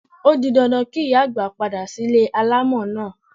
O di dandan kí ìyá àgbà padà sílé alámọ̀ náà.